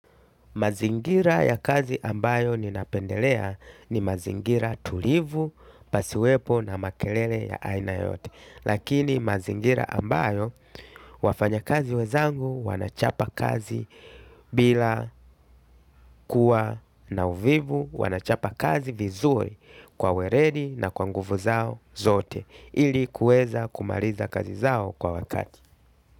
Mazingira ya kazi ambayo ninapendelea ni mazingira tulivu, pasiwepo na makelele ya aina yote. Lakini mazingira ambayo wafanya kazi wezangu wanachapa kazi bila kuwa na uvivu wanachapa kazi vizuri kwa werendi na kwanguvu zao zote. Ili kuewza kumariza kazi zao kwa wakati.